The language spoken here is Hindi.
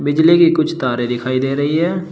बिजली की कुछ तारे दिखाई दे रही हैं।